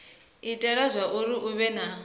itela zwauri hu vhe na